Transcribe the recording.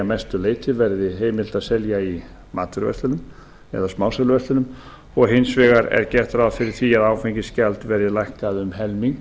mestu leyti verði heimilt að selja í matvöruverslunum eða smásöluverslunum og hins vegar er gert ráð fyrir því að áfengisgjald verði lækkað um helming